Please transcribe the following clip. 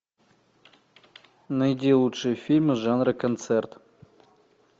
найди лучшие фильмы жанра концерт